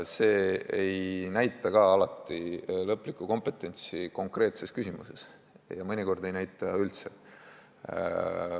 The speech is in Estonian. See ei näita alati lõplikku kompetentsi ka konkreetses küsimuses ja mõnikord ei näita üldse.